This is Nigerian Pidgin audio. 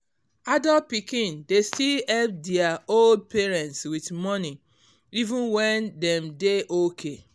adult pikin dey still help dia old parents with money even when dem dey okay